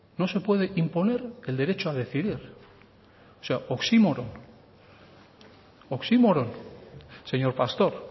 no se puede imponer el derecho a decidir oxímoron señor pastor